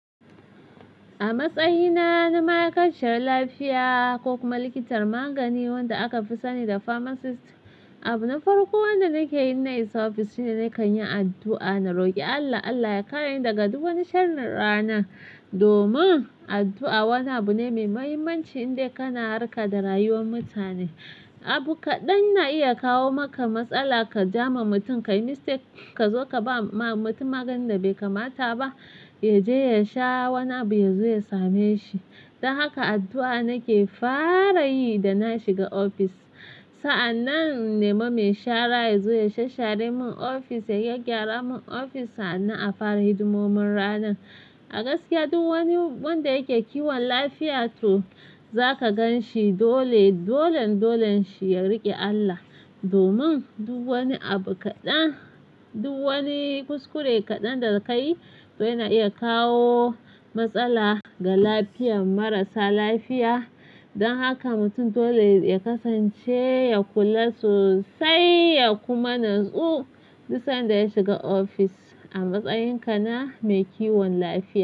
A matsayina na ma'aikaciyar lafiya ko kuma likitar magani wanda aka fi sani da pharmacist, abu na farko wanda nake yi in na isa ofis shine na kan yi addu'a. Na roki Allah Allah ya kareni daga duk wani sharrin rana. Domin addu'a wani abu ne mai muhimmanci in dai kana harka da rayuwar mutane. Abu kaɗan na iya kawo maka matsala ka ja ma mutum ka yi mistake ka zo ka ba ma mutum maganin da bai kamata ba, ya je ya sha wani abu ya zo ya same shi. Don haka addu'a nake fara yi da na shiga ofis. Sa'an nan na nema mai shara ya zo ya sha share mun ofis ya gyara mun ofis sannan a fara hidimomin ranan. A gaskiya duk wani wanda yake kiwon lafiya to zaka gan shi dole dolan dolan shi ya riƙe Allah, domin duk wani abu kaɗan duk wani kuskure kaɗan daga ka yi to yana iya kawo matsala ga lafiyan marasa lafiya. Don haka mutum dole ya kasance ya kula sosai ya kuma natsu duk sanda ya shiga ofis. A matsayinka na mai kiwon lafiya.